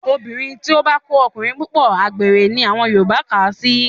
Obìnrin tó bá ń kó ọkùnrin púpọ̀, àgbèrè ni àwọn Yorùbá kà á sí